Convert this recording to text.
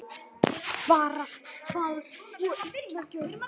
Varast fals og illa gjörð.